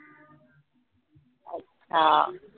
हां